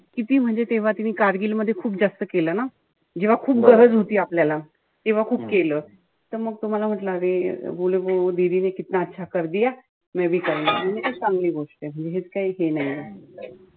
किती म्हणजे तेव्हा तिनी कारगिल मध्ये खूप जास्त केलं ना. जेव्हा खूप गरज होती आपल्याला. तेव्हा खूप केलं. त मग तो मला म्हणला अरे म्हणलं चांगली गोष्टय. काही हे नाहीये.